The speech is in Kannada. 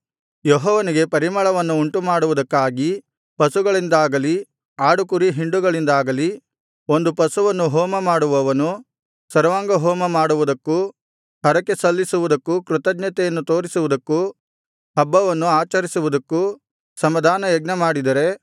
ಯೆಹೋವನಿಗೆ ಪರಿಮಳವನ್ನು ಉಂಟುಮಾಡುವುದಕ್ಕಾಗಿ ಪಶುಗಳಿಂದಾಗಲಿ ಆಡುಕುರಿ ಹಿಂಡುಗಳಿಂದಾಗಲಿ ಒಂದು ಪಶುವನ್ನು ಹೋಮಮಾಡುವವನು ಸರ್ವಾಂಗಹೋಮ ಮಾಡುವುದಕ್ಕೂ ಹರಕೆಸಲ್ಲಿಸುವುದಕ್ಕೂ ಕೃತಜ್ಞತೆಯನ್ನು ತೋರಿಸುವುದಕ್ಕೂ ಹಬ್ಬವನ್ನು ಆಚರಿಸುವುದಕ್ಕೂ ಸಮಾಧಾನಯಜ್ಞಮಾಡಿದರೆ